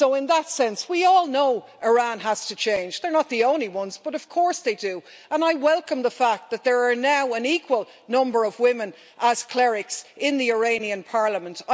So, in that sense, we all know Iran has to change they're not the only ones but of course they know this and I welcome the fact that there is now an equal number of women as clerics in the Iranian Parliament.